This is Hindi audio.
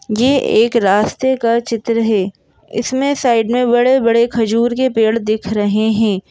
ए एक रास्ते का चित्र है इसमें साइड में बड़े बड़े खजूर के पेड़ दिख रहे हैं।